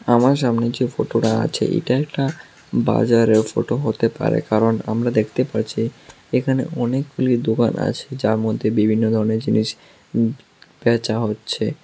আমার সামনে যে ফোটোটা আছে এটা একটা বাজারের ফোটো হতে পারে কারণ আমরা দেখতে পারছি এখানে অনেকগুলি দোকান আছে যার মধ্যে বিভিন্ন ধরনের জিনিস উম বেচা হচ্ছে।